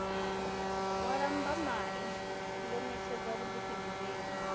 wa lambamai ndo ṋetshedza vhuḓifhindulele